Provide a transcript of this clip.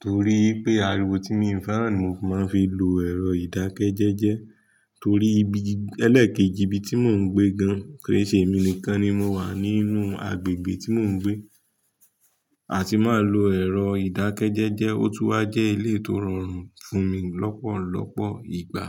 Torií pé àríwó tí mii fẹ́ràn ni fi maa fi ń lo ẹ̀rọ ìdákẹ́jẹ́jẹ́. Torí ibi ẹlẹ́ekẹ́jì ibi tí mò ń gbé gan-an, kìí ṣe èmi nìkan ni mo wà nínú agbègbè tí mò ń gbé. Atì máa lo ẹ̀rọ ìdákẹ́jẹ́jẹ́. Ó tú wa jẹ́ eleyii tó rọrùn fún mi lọ́pọ̀lọ́pọ̀ ìgbà.